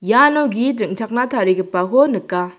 iano git ring·chakna tarigipako nika.